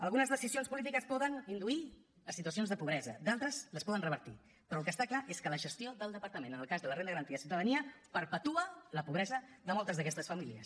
algunes decisions polítiques poden induir a situacions de pobresa d’altres les poden revertir però el que està clar és que la gestió del departament en el cas de la renda garantida de ciutadania perpetua la pobresa de moltes d’aquestes famílies